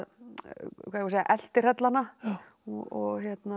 segja að eltihrella hana og